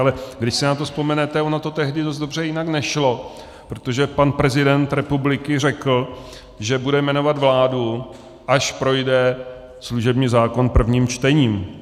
Ale když si na to vzpomenete, ono to tehdy dost dobře jinak nešlo, protože pan prezident republiky řekl, že bude jmenovat vládu, až projde služební zákon prvním čtením.